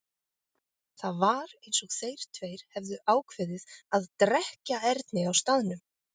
Það var eins og þeir tveir hefðu ákveðið að drekkja Erni á staðnum.